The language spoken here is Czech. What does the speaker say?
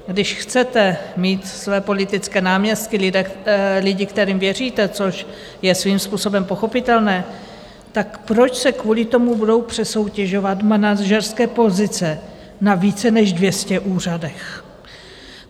Když chcete mít své politické náměstky, lidi, kterým věříte, což je svým způsobem pochopitelné, tak proč se kvůli tomu budou přesoutěžovat manažerské pozice na více než 200 úřadech?